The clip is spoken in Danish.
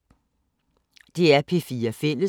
DR P4 Fælles